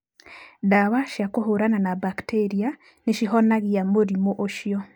Ndawa cia kũhũrana na mbakitĩria nĩ cihonagia mũrimũ ũcio.